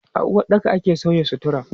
A uwaɗɗaka ake sauya sutura.